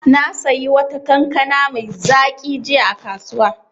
Na sayi wata kankana mai zaƙi jiya a kasuwa.